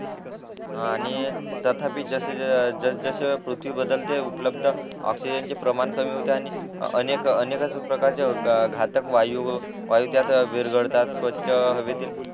आणि तथापि जस जस पृथ्वी बदलते उपलब्ध ऑक्सिजन च प्रमाण कमी होते आणि अनेक अनेकाच प्रकार हे होतात घातक वायू वायू विरघळतात स्वच्छ हवेतील